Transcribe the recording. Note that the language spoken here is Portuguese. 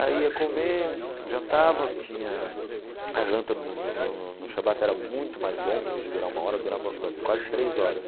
Aí ia comer, jantava, tinha... A janta no no no no shabbat era muito mais longa, ao invés de durar uma hora, durava quase três horas.